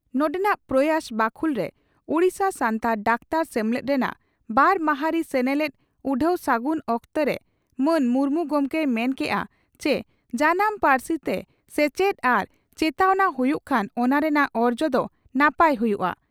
ᱱᱚᱰᱮᱱᱟᱜ 'ᱯᱨᱚᱭᱟᱥ' ᱵᱟᱠᱷᱩᱞ ᱨᱮ ᱳᱰᱤᱥᱟ ᱥᱟᱱᱛᱟᱲ ᱰᱟᱠᱛᱟᱨ ᱥᱮᱢᱞᱮᱫ ᱨᱮᱱᱟᱜ ᱵᱟᱨ ᱢᱟᱦᱟᱨᱤ ᱥᱮᱱᱮᱞᱮᱫ ᱩᱰᱦᱟᱹᱣ ᱥᱟᱹᱜᱩᱱ ᱚᱠᱛᱚᱨᱮ ᱢᱟᱱ ᱢᱩᱨᱢᱩ ᱜᱚᱢᱠᱮᱭ ᱢᱮᱱ ᱠᱮᱫᱼᱟ ᱪᱤ ᱡᱟᱱᱟᱢ ᱯᱟᱹᱨᱥᱤ ᱛᱮ ᱥᱮᱪᱮᱫ ᱟᱨ ᱪᱮᱛᱟᱣᱱᱟ ᱦᱩᱭᱩᱜ ᱠᱷᱟᱱ ᱚᱱᱟ ᱨᱮᱱᱟᱜ ᱚᱨᱡᱚ ᱫᱚ ᱱᱟᱯᱟᱭ ᱦᱩᱭᱩᱜᱼᱟ ᱾